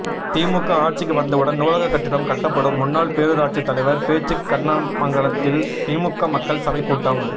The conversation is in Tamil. திமுக ஆட்சிக்கு வந்தவுடன் நூலக கட்டிடம் கட்டப்படும் முன்னாள் பேரூராட்சி தலைவர் பேச்சு கண்ணமங்கலத்தில் திமுக மக்கள் சபை கூட்டம்